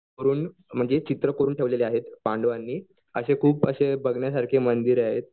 म्हणजे चित्र कोरून ठेवले आहेत पांडवांनी असे खूप असे बघण्यासारखे मंदिर आहेत.